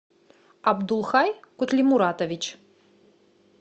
абдулхай кутлимуратович